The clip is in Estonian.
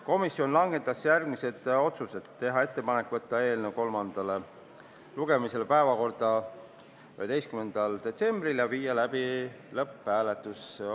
Komisjon langetas järgmised otsused: teha ettepanek saata eelnõu kolmandale lugemisele 11. detsembriks ja viia läbi lõpphääletus.